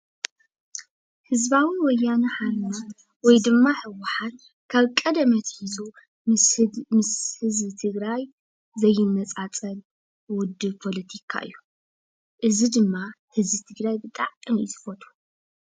ህዝባዊ ወያነ ሓርነት ወይ ድማ ህወሓት ካብ ቀደም ኣትሒዙ ምስ ህዝቢ ትግራይ ዘይነፃፀል ውድብ ፖለቲካ እዩ። እዚ ድማ ህዝቢ ትግራይ ብጣዕሚ እዩ ዝፈትዎ።